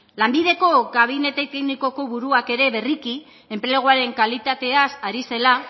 lanbideko kabinete teknikoko buruak ere berriki enpleguaren kalitatea ari zela